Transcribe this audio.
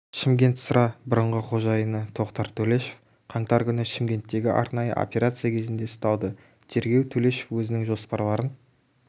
шымкентсыра бұрынғы қожайыны тоқтар төлешов қаңтар күні шымкенттегі арнайы операция кезінде ұсталды тергеу төлешов өзінің жоспарларын